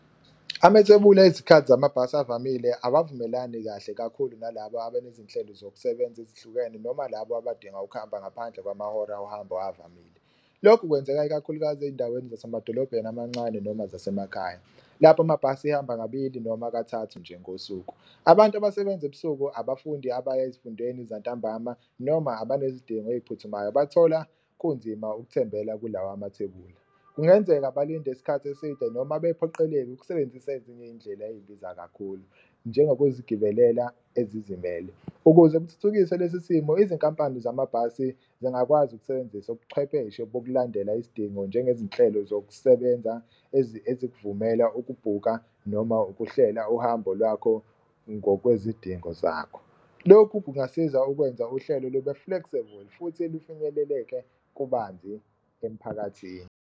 Amethebula ezikhathi zamabhasi avamile awavumelani kahle kakhulu nalaba abanezinhlelo zokusebenza ezihlukene noma laba abadinga ukuhamba ngaphandle kwamahora ohambo avamile. Lokhu kwenzeka ikakhulukazi ey'ndaweni zasemadolobheni amancane noma zasemakhaya, lapho amabhasi ehamba kabili noma kathathu nje ngosuku. Abantu abasebenza ebusuku, abafundi abaya ezifundeni zantambama noma abanezidingo ey'phuthumayo bathola kunzima ukuthembela kulawa amathebula kungenzeka balinde isikhathi eside noma bephoqeleke ukusebenzisa ezinye iyindlela eyibiza kakhulu, njengokuzigibelela ezizimele. Ukuze kuthuthukiswe lesi simo izinkampani zamabhasi zingakwazi ukusebenzisa ubuchwepheshe bokulandela isidingo njengezinhlelo zokusebenza ezikuvumela ukubhuka noma ukuhlela uhambo lwakho ngokwezidingo zakho. Lokhu kungasiza ukwenza uhlelo lube flexible futhi lufinyeleleke kubanzi emphakathini.